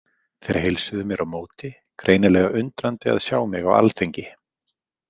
Þeir heilsuðu mér á móti, greinilega undrandi að sjá mig á alþingi.